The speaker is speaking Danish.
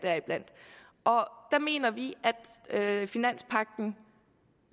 der mener vi at finanspagten